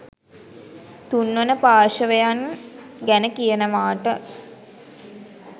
තුන්වන පාර්ශ්වයන් ගැන කියනවාට